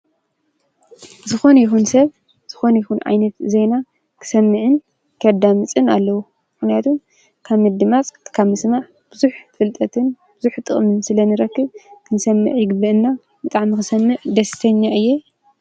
ዝኮነ ይኩን ሰብ ዝኮነ ይኩን ዓይነት ዜና ክሰምዕን ከዳምጽን ኣለዎ፤ ምክንያቱ ካብ ምድማጽ ካብ ምስማዕ ቡዙሕ ፍልጠትን ቡዙሕ ጥቅሚን ስለንረክብ። ክንሰምዕ ይግበአና ብጣዕሚ ክሰምዕ ደስተኛ እየ።